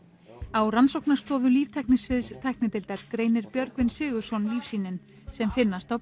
á rannsóknarstofu tæknideildar greinir Björgvin Sigurðsson lífsýnin sem finnast á